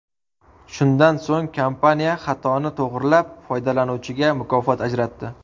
Shundan so‘ng, kompaniya xatoni to‘g‘rilab, foydalanuvchiga mukofot ajratdi.